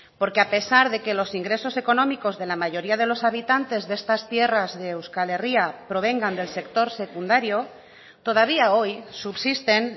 porque a pesar de que los ingresos económicos de la mayoría de los habitantes de estas tierras de euskal herria provengan del sector secundario todavía hoy subsisten